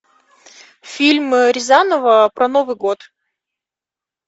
фильм рязанова про новый год